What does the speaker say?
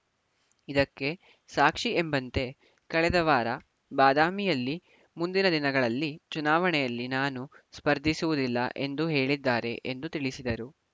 ಇದಕ್ಕೆ ಸಾಕ್ಷಿ ಎಂಬಂತೆ ಕಳೆದ ವಾರ ಬಾದಾಮಿಯಲ್ಲಿ ಮುಂದಿನ ದಿನಗಳಲ್ಲಿ ಚುನಾವಣೆಯಲ್ಲಿ ನಾನು ಸ್ಪರ್ಧಿಸುವುದಿಲ್ಲ ಎಂದು ಹೇಳಿದ್ದಾರೆ ಎಂದು ತಿಳಿಸಿದರು